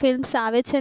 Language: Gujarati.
ફિલ્મ્સ આવે છે.